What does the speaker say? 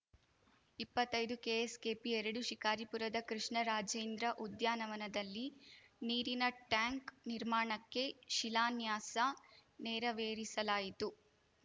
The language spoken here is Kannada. ಇಪ್ಪತ್ತೈದು ಕೆಎಸ್‌ಕೆಪಿ ಎರಡು ಶಿಕಾರಿಪುರದ ಕೃಷ್ಣರಾಜೇಂದ್ರ ಉದ್ಯಾನವನದಲ್ಲಿ ನೀರಿನ ಟ್ಯಾಂಕ್‌ ನಿರ್ಮಾಣಕ್ಕೆ ಶಿಲಾನ್ಯಾಸ ನೆರವೇರಿಸಲಾಯಿತು